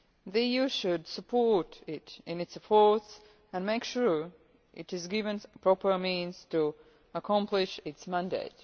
play. The EU should support it in its efforts and make sure it is given proper means to accomplish its mandate.